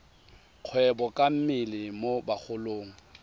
kgwebo ka mmele mo bagolong